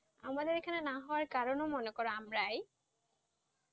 আমাদের এখানে না হওয়ার কারণ মনে করো আমরাই,